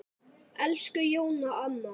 Elsku Jóna amma.